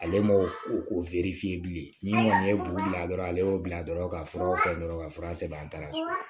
Ale m'o o bilen ni n ko kɔni ye bo bila dɔrɔn ale y'o bila dɔrɔn ka furaw san dɔrɔn ka fura sɛbɛn an ta sɔrɔ